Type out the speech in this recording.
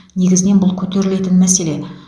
негізінен бұл көтерілетін мәселе